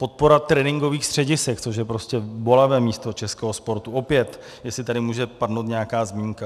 Podpora tréninkových středisek, což je prostě bolavé místo českého sportu, opět jestli tady může padnout nějaká zmínka.